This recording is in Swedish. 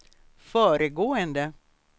föregående